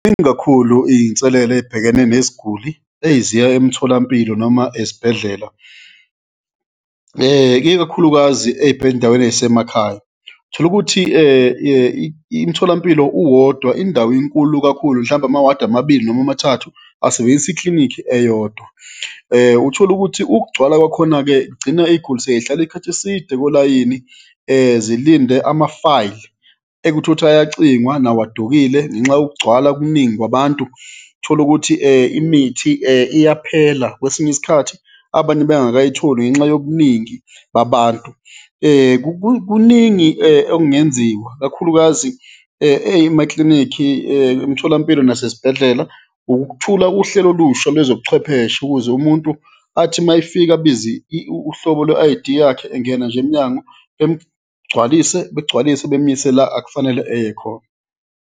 Ningi kakhulu iy'nselelo ey'bhekene nesiguli eziya emtholampilo noma esibhedlela, ikakhulukazi ey'ndaweni ey'semakhaya. Tholukuthi imtholampilo uwodwa, indawo inkulu kakhulu, mhlawumbe ama-ward amabili noma amathathu asebenzisa iklinikhi eyodwa. Utholukuthi ukugcwala kwakhona-ke kugcina iy'guli sey'hlala ikhathi eside kolayini zilinde ama-file ekutholukuthi ayacingwa, nawo adukile ngenxa yokugcwala, ukuningi kwabantu, tholukuthi imithi iyaphela, kwesinye isikhathi abanye bengakayitholi ngenxa yobuningi babantu. Kuningi okungenziwa, kakhulukazi emaklinikhi, emtholampilo nasesibhedlela, ukuthula uhlelo olusha lwezobuchwepheshe ukuze umuntu athi mayefika abize uhlobo lwe-I_D yakhe engena nje emnyango, begcwalise, bemuyise la akufanele eye khona.